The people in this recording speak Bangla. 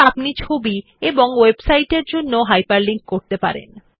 একইভাবে আপনি ছবি এবং ওয়েবসাইটের জন্য হাইপারলিংক তৈরি করতে পারেন